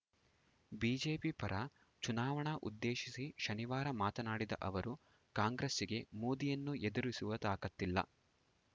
BJP ಪರ ಚುನಾವಣಾ ಉದ್ದೇಶಿಸಿ ಶನಿವಾರ ಮಾತನಾಡಿದ ಅವರು ಕಾಂಗ್ರೆಸ್ಸಿಗೆ ಮೋದಿಯನ್ನು ಎದುರಿಸುವ ತಾಕತ್ತಿಲ್ಲ